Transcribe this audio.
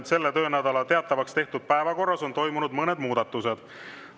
Selle töönädala teatavaks tehtud päevakorras on toimunud mõned muudatused.